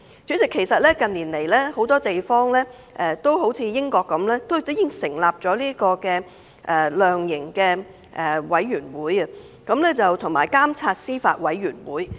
主席，近年來很多地方也如英國一樣，成立了量刑委員會及監察司法委員會。